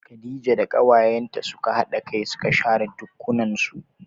Khadija da kawayenta suka hada kai suka share ɗakunnan su.